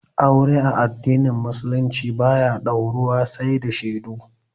Aure a addinin musulunci ba ya dauruwa sai da shaidu